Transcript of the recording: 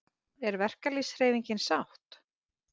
Er verkalýðshreyfingin sátt?